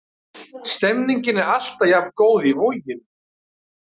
Stemningin er alltaf jafn góð í Voginum.